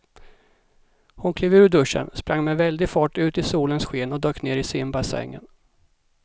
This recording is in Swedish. Hon klev ur duschen, sprang med väldig fart ut i solens sken och dök ner i simbassängen.